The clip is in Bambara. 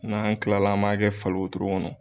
N'an kilala an m'a kɛ fali wotoro kɔnɔ